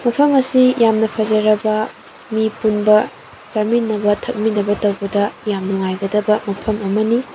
ꯃꯐꯝ ꯑꯁꯤ ꯌꯥꯝꯅ ꯐꯖꯔꯕ ꯃꯤ ꯄꯨꯟꯕ ꯆꯥꯃꯤꯟꯅꯕ ꯊꯛꯃꯤꯟꯅꯕ ꯇꯧꯕꯗ ꯌꯥꯝ ꯅꯨꯉꯥꯏꯒꯗꯕ ꯃꯐꯝ ꯑꯃꯅꯤ꯫